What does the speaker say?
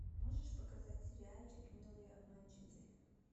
можешь показать сериальчик милые обманщицы